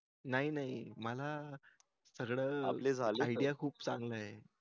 नाही नाही मला सगळं idea खूप चांगले आहे